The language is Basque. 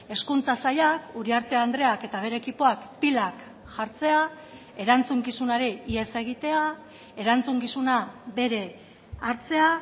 hezkuntza sailak uriarte andreak eta bere ekipoak pilak jartzea erantzukizunari ihes egitea erantzukizuna bere hartzea